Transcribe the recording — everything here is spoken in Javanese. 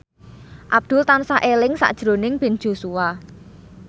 Abdul tansah eling sakjroning Ben Joshua